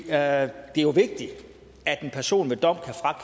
er jo vigtigt at en person ved dom